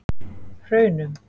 Hraunum